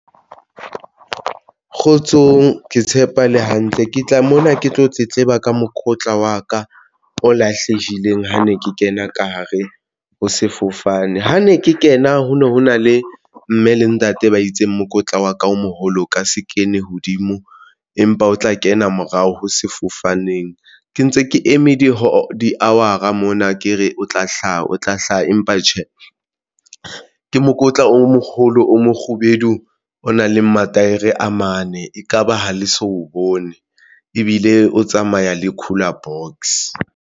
Kgotsong, ke tshepa le hantle ke tla mona ke tlo tletleba ka mokotla wa ka o lahlehileng ha ne ke kena ka hare ho sefofane ha ne ke kena ho no ho na le mme le ntate ba itseng mokotla wa ka o moholo o ka se kene hodimo, empa o tla kena morao ho sefofaneng ke ntse ke eme di-hour-a mona ke re o tla hlaha, o tla hlaha, empa tjhe, ke mokotla o mokgolo o mokgubedu o nang le mataere a mane. Ekaba ha le so bone ebile o tsamaya le cooler box?